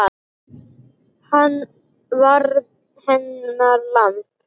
Hann varð hennar lamb.